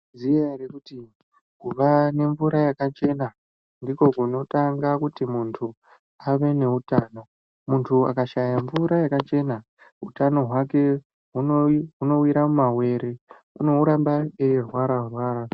Maizviziya here kuti kuva nemvura yakachena ndiko kunotanga kuti muntu ave neutano muntu akashaya mvura yakachena hutano hwake hunowira mumawere unoramba weirwararwara .